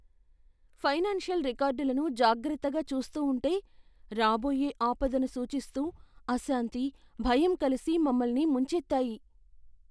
Financial రికార్డులను జాగ్రత్తగా చూస్తూ ఉంటే, రాబోయే ఆపదను సూచిస్తూ అశాంతి, భయం కలిసి మమ్మల్ని ముంచెత్తాయి.